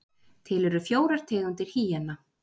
Til eru fjórar tegundir hýena.